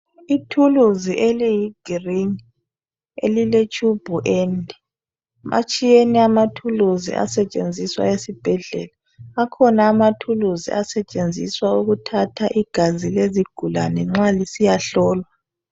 Ithuluzi eliyigirini, eliletshubhu ende. Atshiyene amathuluzi asetshenziswa esibhedlela. Akhona amathuluzi asetshenziswa ukuthatha igazi lezigulane nxa lisiyahlolwa.